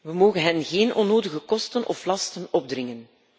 We mogen hen geen onnodige kosten of lasten opdringen.